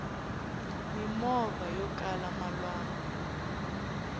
mimovha yokala malwanku